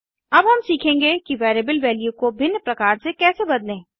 अब हम सीखेंगे कि वेरिएबल वैल्यू को भिन्न प्रकार से कैसे बदलें160